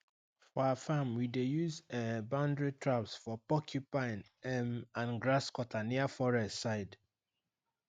for our farm we dey use um boundary traps for porcupine um and grasscutter near forest side